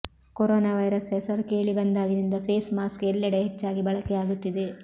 corona virus ಹೆಸರು ಕೇಳಿಬಂದಾಗಿನಿಂದ face mask ಎಲ್ಲೆಡೆ ಹೆಚ್ಚಾಗಿ ಬಳಕೆಯಾಗುತ್ತಿದೆ